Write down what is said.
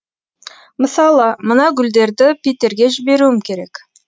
мысалы мына гүлдерді питерге жіберуім керек